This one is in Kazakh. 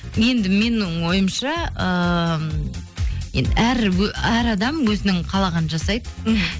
енді менің ойымша ыыы енді әр адам өзінің қалағанын жасайды мхм